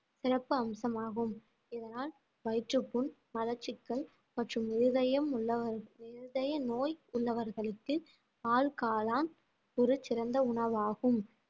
சிறப்பு அம்சமாகும் இதனால் வயிற்றுப் புண் மலச்சிக்கல் மற்றும் இருதயம் உள்ளவ~ இருதய நோய் உள்ளவர்களுக்கு பால் காளான் ஒரு சிறந்த உணவாகும்